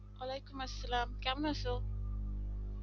ওলাইকুম আসসালাম কেমন আছো